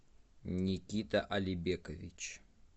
никита алибекович